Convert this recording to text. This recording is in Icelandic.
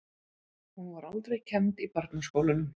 Hún var aldrei kennd í barnaskólunum.